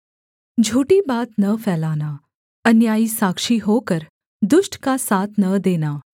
झूठी बात न फैलाना अन्यायी साक्षी होकर दुष्ट का साथ न देना